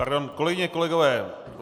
Pardon, kolegyně, kolegové.